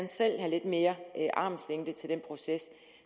selv have lidt mere armslængde til den proces